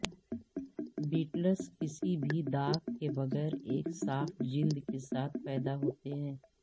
battles کسی بھی داغ کے بغیر ایک صاف جلد کے ساتھ پیدا ہوتے ہیں